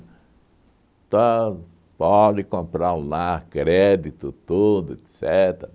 Então, pode comprar o lar, crédito, tudo, etcetera